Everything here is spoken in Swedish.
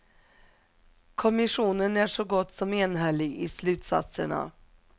Kommissionen är så gott som enhällig i slutsatserna.